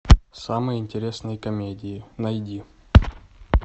самые интересные комедии найди